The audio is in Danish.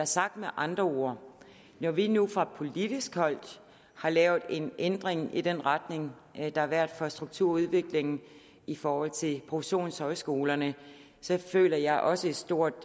sagt med andre ord når vi nu fra politisk hold har lavet en ændring i den retning der har været for strukturudviklingen i forhold til professionshøjskolerne føler jeg også et stort